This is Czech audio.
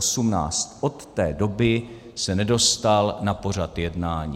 Od té doby se nedostal na pořad jednání.